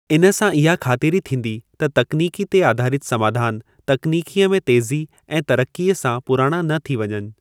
इन सां इहा ख़ातिरी थींदी त तकनीकी ते आधारिति समाधान तकनीकीअ में तेज़ी ऐं तरक़ीअ सां पुराणा न थी वञनि।